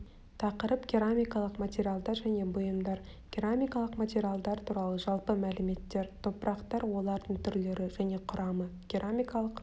тақырып керамикалық материалдар және бұйымдар керамикалық материалдар туралы жалпы мәліметтер топырақтар олардың түрлері және құрамы керамикалық